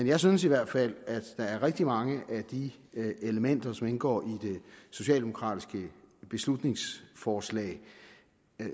jeg synes i hvert fald at der er rigtig mange af de elementer som indgår i det socialdemokratiske beslutningsforslag